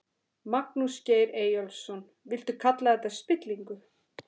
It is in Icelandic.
Magnús Geir Eyjólfsson: Viltu kalla þetta spillingu?